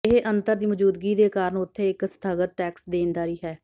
ਇਹ ਅੰਤਰ ਦੀ ਮੌਜੂਦਗੀ ਦੇ ਕਾਰਨ ਉੱਥੇ ਇੱਕ ਸਥਗਤ ਟੈਕਸ ਦੇਣਦਾਰੀ ਹੈ